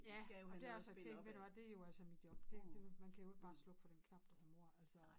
Ja og dér har jeg sagt til hende ved du hvad det jo altså mit job det det man kan jo ikke bare slukke for den knap der hedder mor altså